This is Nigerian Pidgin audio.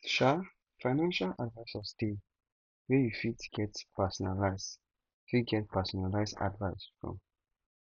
um financial advisors de wey you fit get personalised fit get personalised advice from